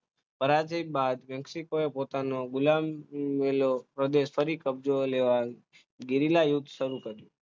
પરાજિત બાદ મેક્સિકોએ પોતાનો ગુલામ પ્રદેશ લેવા યુદ્ધ શરૂ કર્યું